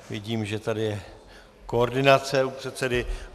Vidím, že tady je koordinace u předsedy.